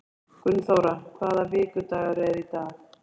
Gunnþóra, hvaða vikudagur er í dag?